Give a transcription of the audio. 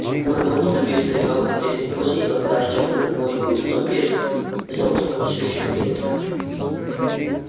бурбон неподвижно лежал в прежней позе и когда артём повернул его лицом вверх глаза у того всё ещё были открыты